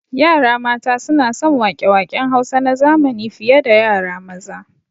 Yara mata suna son waƙe waƙen Hausa na zamani fi ye da yara maza